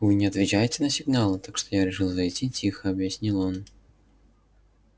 вы не отвечаете на сигналы так что я решил зайти тихо объяснил он